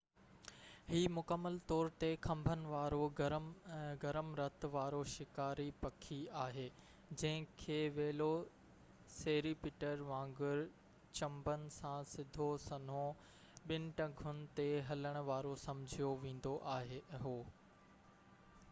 هي مڪمل طور تي کنڀن وارو گرم رت وارو شڪاري پکي آهي جنهن کي ويلوسيريپٽر وانگر چنبن سان سڌو سنئون ٻن ٽنگن تي هلڻ وارو سمجهيو ويندو هو